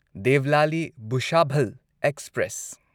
Devlali Bhusawal express passenger